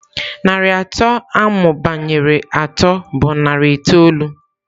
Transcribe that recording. Narị atọ amụbanyere atọ bụ narị itoolu.